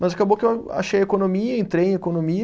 Mas acabou que eu achei economia, entrei em economia,